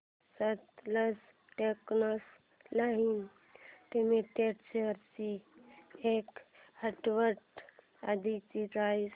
Sutlej textiles limited shares ची एक आठवड्या आधीची प्राइस